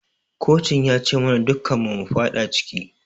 Kocin ya ci mana dukun mu mufada ciki